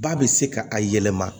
Ba bɛ se ka a yɛlɛma